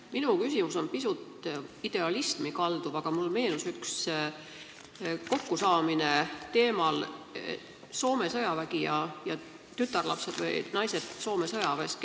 Minu küsimus on pisut idealismi kalduv, aga mulle meenus üks kokkusaamine, kus olid teemaks tütarlapsed või naised Soome sõjaväes.